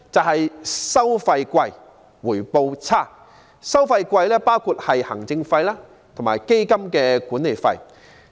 昂貴的收費包括行政費及基金的管理費。